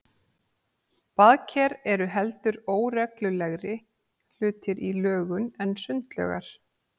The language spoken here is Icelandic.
Baðker eru heldur óreglulegri hlutir í lögun en sundlaugar.